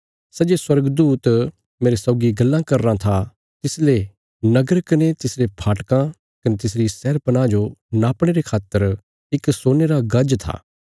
सै जे स्वर्गदूत मेरे सौगी गल्लां करीराँ था तिसले नगर कने तिसरे फाटकां कने तिसरी शहरपनाह जो नापणे रे खातर इक सोने रा गज था